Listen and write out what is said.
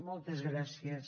moltes gràcies